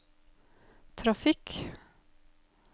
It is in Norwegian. trafikk